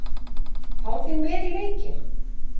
Fá þig með í leikinn.